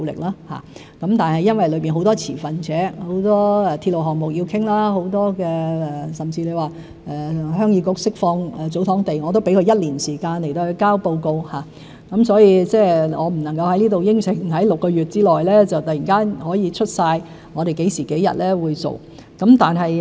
因為當中有很多持份者，有很多鐵路項目要商談，即使是鄉議局釋放祖堂地，我都給予一年時間提交報告，所以我不能夠在這裏承諾在6個月之內突然可以列出我們何時何日會做得到。